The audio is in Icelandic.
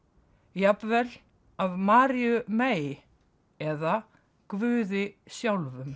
jafnvel af Maríu mey eða Guði sjálfum